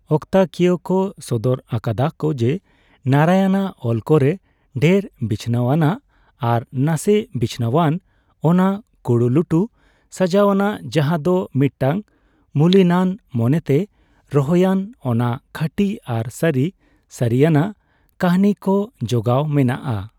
ᱚᱠᱛᱟ ᱠᱤᱭᱟᱹ ᱠᱚ ᱥᱚᱫᱚᱨ ᱟᱠᱟᱫᱟ ᱠᱚ ᱡᱮ, ᱱᱟᱨᱟᱭᱚᱱᱟᱜ ᱚᱞ ᱠᱚᱨᱮ ᱰᱷᱮᱨ ᱵᱤᱪᱷᱱᱟᱹᱣ ᱟᱱᱟᱜ ᱟᱨ ᱱᱟᱥᱮ ᱵᱤᱪᱷᱱᱟᱹᱣᱟᱱ; ᱚᱱᱟ ᱠᱩᱲᱩᱞᱩᱴᱷᱩ ᱥᱟᱡᱟᱣᱱᱟ, ᱡᱟᱦᱟ ᱫᱚ ᱢᱤᱫᱴᱟᱝ ᱢᱩᱞᱤᱱᱟᱱ ᱢᱚᱱᱮᱛᱮ ᱨᱚᱦᱚᱭᱟᱱ, ᱚᱱᱟ ᱠᱷᱟᱹᱴᱤ ᱟᱨ ᱥᱟᱹᱨᱤ ᱥᱟᱹᱨᱤᱱᱟᱜ ᱠᱟᱹᱦᱱᱤ ᱡᱚ ᱡᱚᱜᱟᱣ ᱢᱮᱱᱟᱜᱼᱟ ᱾